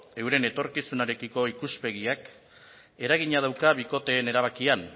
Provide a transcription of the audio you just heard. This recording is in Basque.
euren etorkizunarekiko ikuspegiak eragina dauka bikoteen erabakian